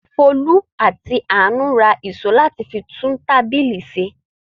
Folú àti Àánú ra ìṣó láti fi tún tábìlì ṣe.